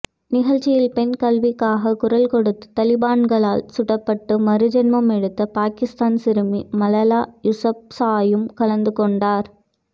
நிகழ்ச்சியில் பெண் கல்விக்காக குரல் கொடுத்து தாலிபான்களால் சுடப்பட்டு மறுஜென்மம் எடுத்த பாகிஸ்தான் சிறுமி மலாலா யூசப்சாயும் கலந்து கொண்டார்